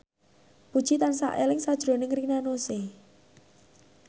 Puji tansah eling sakjroning Rina Nose